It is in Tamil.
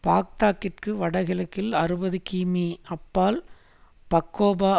பாக்தாத்திற்கு வடகிழக்கில் அறுபதுகிமீ அப்பால் பக்கோபா